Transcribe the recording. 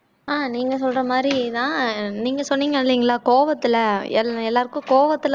ஆஹ் நீங்க சொல்ற மாதிரிதான் நீங்க சொன்னீங்க இல்லைங்களா கோவத்துல எல் எல்லாருக்கும் கோவத்துல வந்து